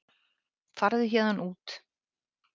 Farðu héðan út.